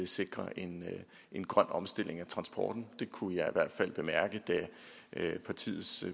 sikre en en grøn omstilling af transporten det kunne jeg hvert fald bemærke da partiet